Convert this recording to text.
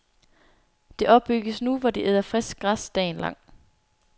Det opbygges nu, hvor de æder frisk græs dagen lang.